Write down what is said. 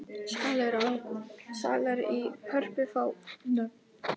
Salir í Hörpu fá nöfn